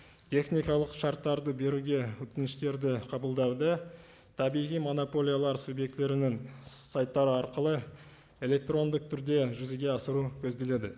техникалық шарттарды беруге өтініштерді қабылдауды табиғи монополиялар субъектілерінің сайттары арқылы электрондық түрде жүзеге асыру көзделеді